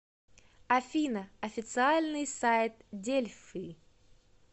афина официальный сайт дельфы